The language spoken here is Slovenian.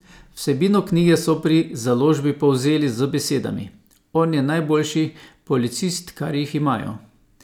Vsebino knjige so pri založbi povzeli z besedami: "On je najboljši policist, kar jih imajo.